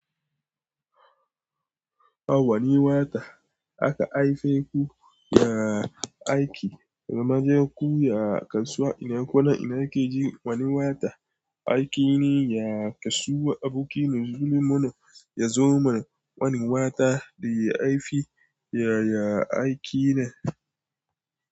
Ah wani wata aka haife ku ya aiki, zamaje ku ya kasuwa ina kwana, ina kukeji wani wata, aiki ne ya kasuwa aboki nazuli mono yazo man wani wata da ya haifi ya ya aiki nan.